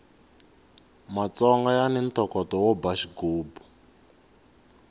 matsonga yani ntokoto wo ba xigubu